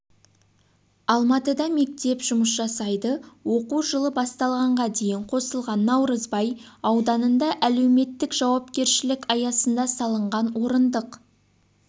алматыда мектеп жұмыс жасайды оқу жылы басталғанға дейін қосылған наурызбай ауданында әлеуметтік жауапкершілік аясында салынған орындық